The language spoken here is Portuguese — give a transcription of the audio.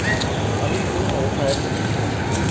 Ali foi uma outra época que eu fui vivendo.